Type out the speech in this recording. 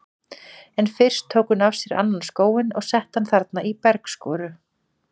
En fyrst tók hún af sér annan skóinn og setti hann þarna í bergskoru.